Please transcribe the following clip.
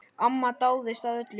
Amma dáðist að öllu.